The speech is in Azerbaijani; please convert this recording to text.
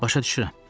Başa düşürəm.